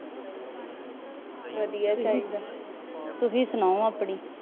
ਵਧੀਆ ਚਾਹੀਦਾ।